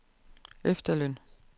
efterløn